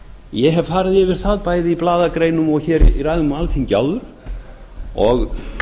ég hef farið yfir það bæði í blaðagreinum og í ræðu á alþingi áður og